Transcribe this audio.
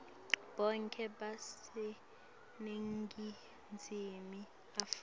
bonkhe baseningizimu afrika